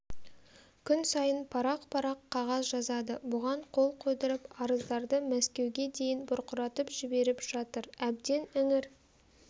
күн сайын парақ-парақ қағаз жазады бұған қол қойдырып арыздарды мәскеуге дейін бұрқыратып жіберіп жатыр әбден іңір